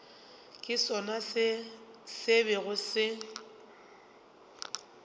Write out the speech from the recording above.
ke sona se bego se